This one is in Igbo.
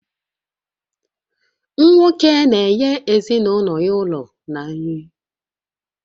Nwoke na-enye ezinụlọ ya ụlọ na nri